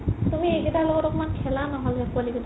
তুমি এইকেইতাৰ লগত অলপ খেলা নহ'লে পোৱালি কেইটাৰ লগত